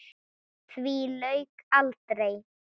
Því lauk aldrei.